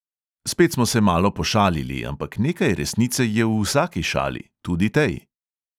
Spet smo se malo pošalili, ampak nekaj resnice je v vsaki šali, tudi tej.